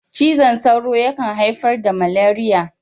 Cizon sauro yakan haifar da maleriya.